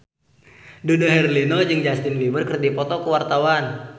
Dude Herlino jeung Justin Beiber keur dipoto ku wartawan